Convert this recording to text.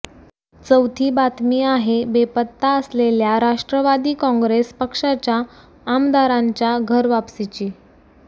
चौथी बातमी आहे बेपत्ता असलेल्या राष्ट्रवादी काँग्रेस पक्षाच्या आमदारांच्या घरवापसीची